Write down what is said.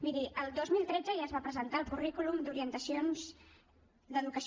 miri el dos mil tretze ja es va presentar el currículum d’orientacions d’educació